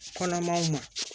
Kɔnɔmaw ma